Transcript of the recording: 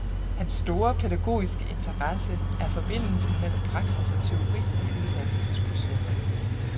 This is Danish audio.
Hans store pædagogiske interesse er forbindelsen mellem praksis og teori i uddannelsesprocessen.